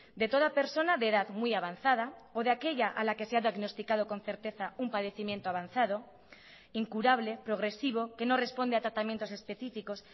de toda persona de edad muy avanzada o de aquella a la que se ha diagnosticado con certeza un padecimiento avanzado incurable progresivo que no responde a tratamientos específicos